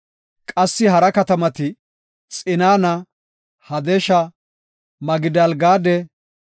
Qassi hara katamati, Xinana, Hadasha, Migidaal-Gaade,